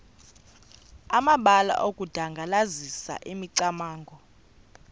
amabalana okudandalazisa imicamango